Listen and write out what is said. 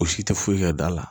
O si tɛ foyi kɛ da la